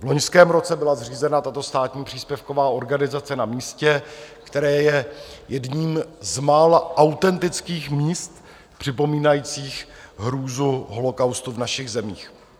V loňském roce byla zřízena tato státní příspěvková organizace na místě, které je jedním z mála autentických míst připomínajících hrůzu holocaustu v našich zemích.